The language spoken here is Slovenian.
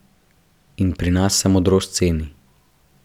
In pri nas se modrost ceni.